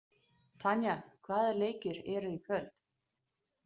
Tanya, hvaða leikir eru í kvöld?